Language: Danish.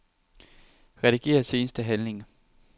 Rediger seneste handling.